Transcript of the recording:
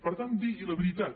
per tant digui la veritat